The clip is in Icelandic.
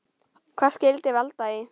Hvað skyldi valda því?